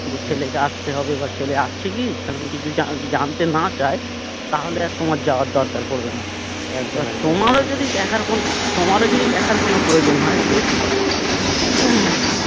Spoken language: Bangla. যে ছেলেকে আস্তে হবে বা ছেলে আসছে কি সেরম কিছু জানতে না চায় তাহলে আর তোমার যাওয়ার দরকার পড়বে না একদম একদম এবার তোমার যদি দেখার কোনো তোমার যদি দেখার কোনো প্রয়োজন হয় যে